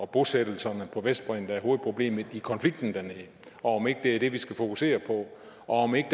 bosættelserne på vestbredden der er hovedproblemet i konflikten dernede om ikke det er det vi skal fokusere på og om ikke